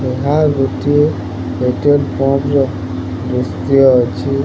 ଏହା ଗୋଟିଏ petrol pump ର ଦୃଶ୍ୟ ଅଛି।